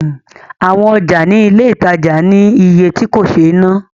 Awọn ọjà ní ilé ìtajà ní iye tí kò sé ná